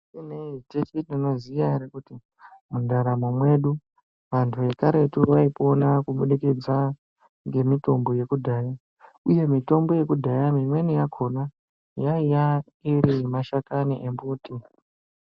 Teshe tinoziya ere kuti mundaramo mwedu antu ekaretu vaipona kubudikidza ngemitombo yekudhaya, uye mitombo yekudhaya iyani imweni yakhona yaiya iri yemashakani embuti.